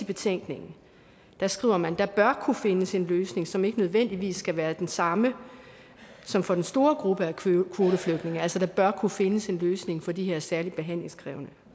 betænkningen skriver man at der bør kunne findes en løsning som ikke nødvendigvis skal være den samme som for den store gruppe af kvoteflygtninge altså der bør kunne findes en løsning for de her særligt behandlingskrævende